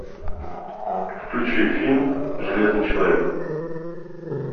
включи фильм железный человек